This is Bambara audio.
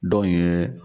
Dɔn in ye